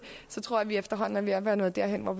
så tror jeg at vi efterhånden er ved at være nået derhen hvor